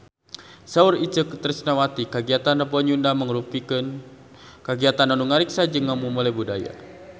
Saur Itje Tresnawati kagiatan Rebo Nyunda mangrupikeun kagiatan anu ngariksa jeung ngamumule budaya Sunda